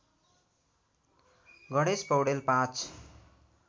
Ganesh Paudel ०५